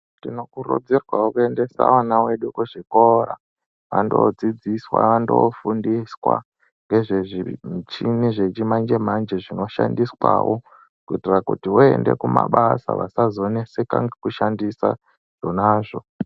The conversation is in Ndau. Tinokurudzirwawo kuendesa ana edu kuzvikora vandodzidziswa vandofundiswa ngezvemichini zvechimanjemanje zvinoshandiswawo kuita kuti voende kumabasa vasazonetseka nekushandisa zvonazvo.